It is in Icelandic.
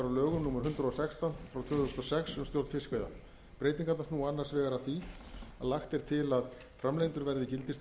lögum númer hundrað og sextán tvö þúsund og sex um stjórn fiskveiða breytingarnar snúa annars vegar að því að lagt er til að framlengdur verði gildistími